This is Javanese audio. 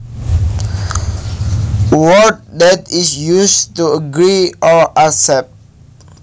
A word that is used to agree or accept